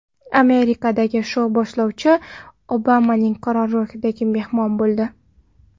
Amerikadagi shou boshlovchisi Obamaning qarorgohida mehmon bo‘ldi.